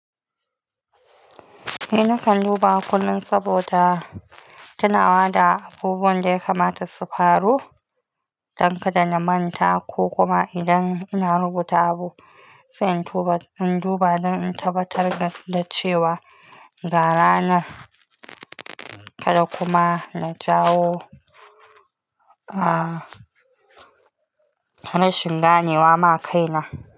Ni na kan duba kullum saboda tunawa da abubuwan da ya kamata su faru don kada na manta ko kuma idan ina rubuta abu sai in duba don in tabbatar da cewa gara na, kada kuma na jawo, ah, rashin ganewa ma kaina.